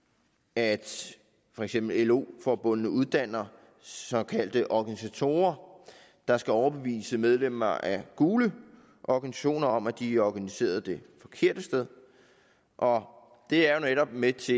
at for eksempel lo forbundene uddanner såkaldte organisatorer der skal overbevise medlemmer af gule organisationer om at de er organiseret det forkerte sted og det er jo netop med til